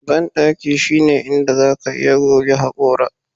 Bandaki shine inda zaka iya goge hakora